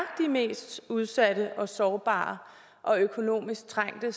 mest udsatte og sårbare og økonomisk trængte